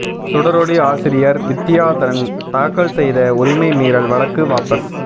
சுடரொளி ஆசிரியர் வித்தியாதரன் தாக்கல் செய்த உரிமை மீறல் வழக்கு வாபஸ்